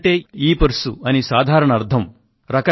wallet అంటే ఇపర్స్ అని సాధారణ అర్థం